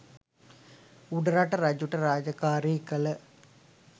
උඩරට රජුට රාජකාරී කල